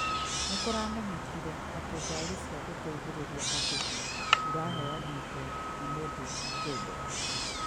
Nĩkũramenyekire atĩ ngaari cia gũteithĩrĩria andũ iraheanĩtwo nĩ mũndũ kĩũmbe